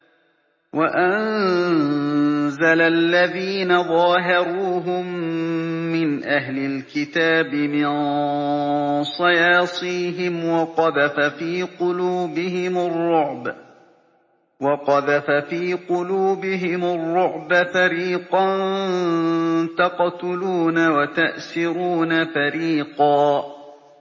وَأَنزَلَ الَّذِينَ ظَاهَرُوهُم مِّنْ أَهْلِ الْكِتَابِ مِن صَيَاصِيهِمْ وَقَذَفَ فِي قُلُوبِهِمُ الرُّعْبَ فَرِيقًا تَقْتُلُونَ وَتَأْسِرُونَ فَرِيقًا